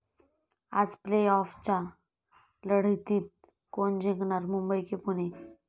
आज प्ले आॅफच्या लढतीत कोण जिंकणार? मुंबई की पुणे?